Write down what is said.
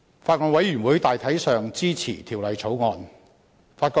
法案委員會大體上支持《2016年仲裁條例草案》。